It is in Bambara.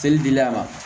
Seli dili a ma